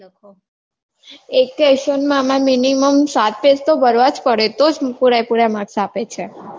એક question માં અમાર minimum સાત pen તો ભરવાં જ પડે તો જ પૂરે પુરા marks આપે છે